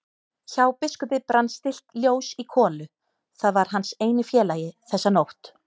Hjá biskupi brann stillt ljós í kolu, það var hans eini félagi þessa nótt.